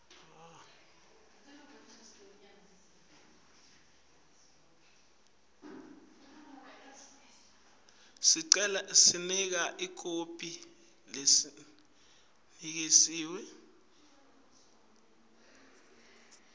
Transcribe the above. niketa ikhophi lecinisekisiwe